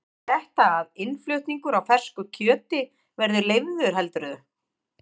Þýðir þetta að innflutningur á fersku kjöti verði leyfður heldurðu?